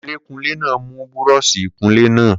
Kunlé kunlé náà mú búrọṣí ìkunlé naa